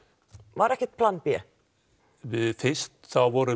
var ekkert plan b fyrst vorum